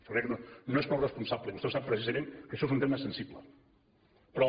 jo crec que no és prou responsable i vostè ho sap precisament que això és un tema sensible però